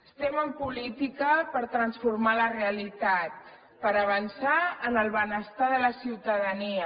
estem en política per transformar la realitat per avançar en el benestar de la ciutadania